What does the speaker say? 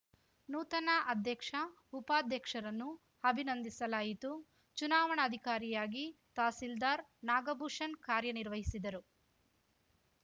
ನೂತನ ಅಧ್ಯಕ್ಷ ಉಪಾಧ್ಯಕ್ಷರನ್ನು ಅಭಿನಂದಿಸಲಾಯಿತು ಚುನಾವಣಾಧಿಕಾರಿಯಾಗಿ ತಹಸೀಲ್ದಾರ್‌ ನಾಗಭೂಷಣ್‌ ಕಾರ್ಯನಿರ್ವಹಿಸಿದರು